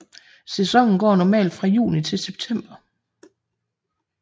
Sæsonen går normalt fra juni til september